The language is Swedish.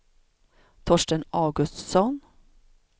Torsten Augustsson